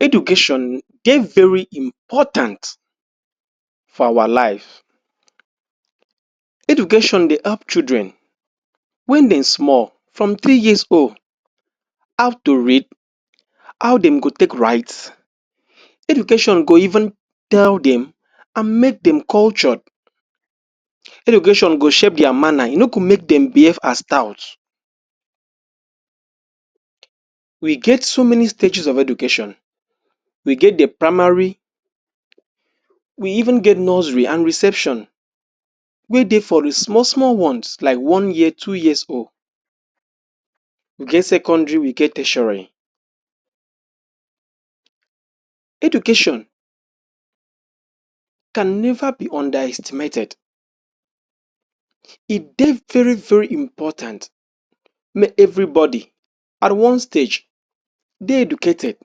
Education dey very important for our life. Education dey help children wen dem small from three years old, how to read, how dem go take write. Education go even tell dem and make dem cultured. Education go shape their manner, e no go make dem behave as tout. We get so many stages of education. We get the primary, we even get nursery and reception wey dey for the small small ones like one year, two years old. We get secondary, we get tertiary. Education can never be underestimated. E dey very very important make everybody at one stage dey educated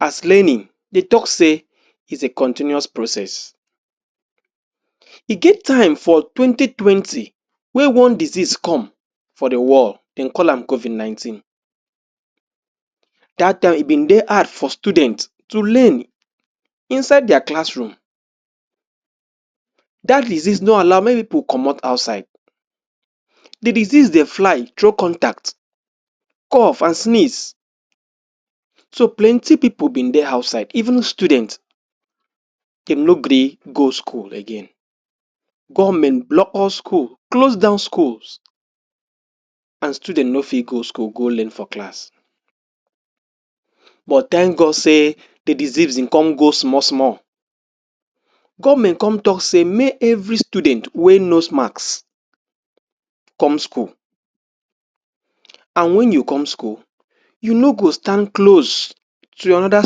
as learning dey talk say is a continuous process. E get time for 2020 wey one disease come for the world, dem call am COVID-19. Dat time e been dey hard for the student to learn inside their classroom. Dat disease no allow make people comot outside. The disease dey fly through contact, cough and sneeze. Dem no gree go schools again. So plenty people been dey outside even students. Government block all school, close down schools as children no fit go school go learn for class. But thank God say the disease, im come go small small. Government come talk say make every student wear nose mask come school and wen you come school, you no go stand close to another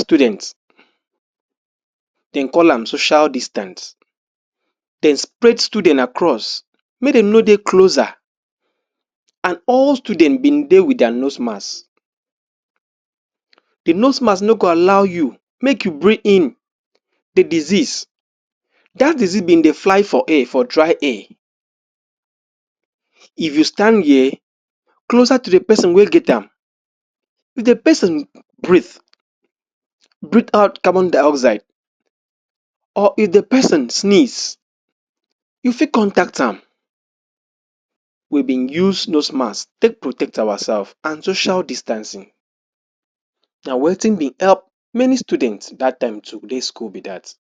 student. Dem call am social distance. Dey spread student across make dem no dey closer and all student been dey wit their nose mask. The nose mask no go allow you make you breathe in the disease. Dat disease been dey fly for air, for dry air. If you stand here, closer to the person wey get am if the person breathe breathe out carbon dioxide or if the person sneeze, you fit contact am. We been use nose mask take protect ourselves and social distancing. Na wetin been help many students dat time to dey school be dat.